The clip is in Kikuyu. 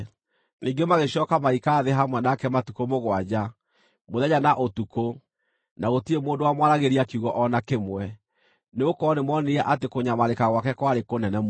Ningĩ magĩcooka magĩikara thĩ hamwe nake matukũ mũgwanja, mũthenya na ũtukũ, na gũtirĩ mũndũ wamwaragĩria kiugo o na kĩmwe, nĩgũkorwo nĩmoonire atĩ kũnyamarĩka gwake kwarĩ kũnene mũno.